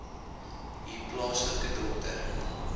u plaaslike dokter